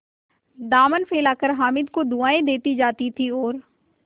दामन फैलाकर हामिद को दुआएँ देती जाती थी और